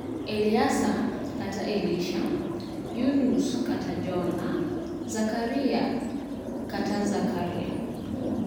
Alyasa (Elisha), Yunus (Jona), Zakariya (Zekariah).